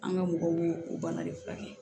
An ka mɔgɔw y'o o bana de furakɛ